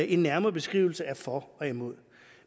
en nærmere beskrivelse af for og imod